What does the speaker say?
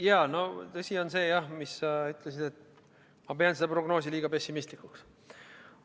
Jaa, see on tõsi, mis sa ütlesid, et ma pean seda prognoosi liiga pessimistlikuks.